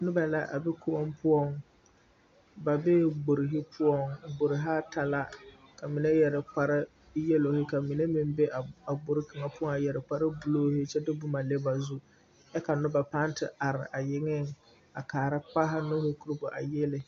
Noba la a be koɔŋ poɔŋ ba bei gbori poɔŋ gborihi ata la ka mine yɛre yalohi ka mine meŋ be gborihi kaŋa poɔ a yɛre kpare buluuhi a kyɛ de boma le ba zu kyɛ ka noba pãã te are a yeŋeŋ kaara kpaaha nuuri koro bɔ